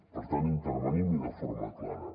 per tant intervenim i de forma clara